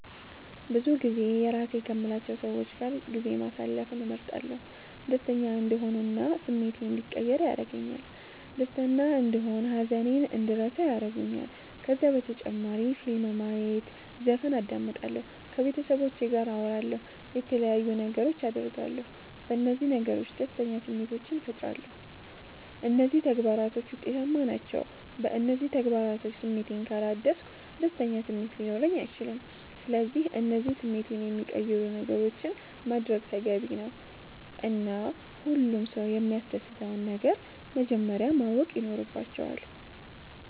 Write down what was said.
ብዙጊዜ የራሴ ከምላቸዉ ሰዎች ጋር ጊዜ ማሰለፍን እመርጣለሁ። ደሰተኛ እንድሆን እና ስሜቴ እንዲቀየር ያደርገኛል ደስተና እንደሆን ሃዘኔን እንድረሳ ያረጉኛል። ከዛ በተጨማሪ ፊልም ማየት ዘፈን አዳምጣለሁ። ከቤተሰቦቼ ጋር አወራለሁ የተለያዩ ነገሮች አደርጋለሁ። በነዚህ ነገሮች ደስተኛ ስሜቶችን ፈጥራለሁ። እነዚህ ተግባራቶች ዉጤታማ ናቸዉ። በእነዚህ ተግባራቶች ስሜቴን ካላደስኩ ደስተኛ ስሜት ሊኖረኝ አይችልም። ስለዚህ እነዚህን ስሜቴን የሚቀይሩ ነገሮችን ማድረግ ተገቢ ነዉ እና ሁሉም ሰዉ የሚያሰደስተዉን ነገር መጀመረያ ማወቅ ይኖረባቸዋል